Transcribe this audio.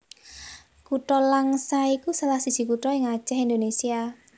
Kutha Langsa iku salah siji kutha ing Acèh Indonésia